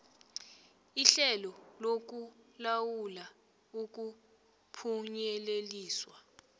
ihlelo lokulawula ukuphunyeleliswa